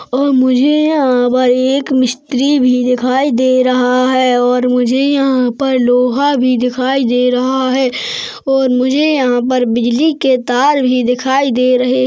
और मुझे यहाँ पर एक मिस्त्री भी दिखाई दे रहा है और मुझे यहाँ पर लोहा भी दिखाई दे रहा है और मुझे यहाँ पर बिजली के तार भी दिखाई दे रहे--